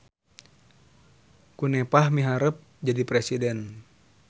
Kunepah miharep jadi presiden